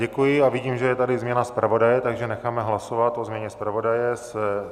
Děkuji a vidím, že je tady změna zpravodaje, takže necháme hlasovat o změně zpravodaje.